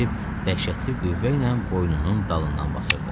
dəhşətli qüvvə ilə boynunun dalından basırdı.